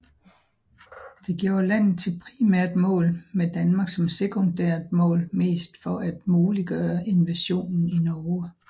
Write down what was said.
Det gjorde landet til et primært mål med Danmark som sekundært mål mest for at muliggøre invasionen i Norge